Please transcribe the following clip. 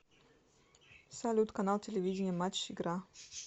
салют канал телевидения матч игра